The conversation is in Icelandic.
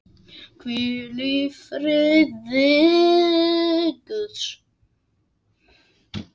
Hvíl í friði Guðs.